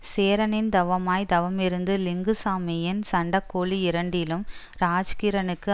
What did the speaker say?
சேரனின் தவமாய் தவமிருந்து லிங்குசாமியின் சண்டக்கோழி இரண்டிலும் ராஜ்கிரணுக்கு